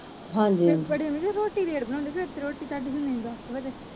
ਫਿਰ ਵੱਡੀ ਮੰਮੀ ਰੋਟੀ late ਬਣਾਉਂਦੇ ਆ ਫਿਰ ਤੇ ਰੋਟੀ ਤੁਹਾਡੀ ਤੇ